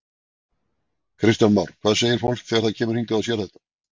Kristján Már: Hvað segir fólk þegar það kemur hingað og sér þetta?